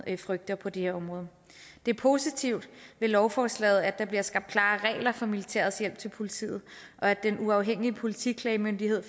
frygter på det her område det er positivt ved lovforslaget at der bliver skabt klare regler for militærets hjælp til politiet og at den uafhængige politiklagemyndighed